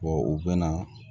u bɛ na